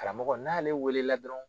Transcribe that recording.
Kalamɔgɔ n'ale wele la dɔrɔn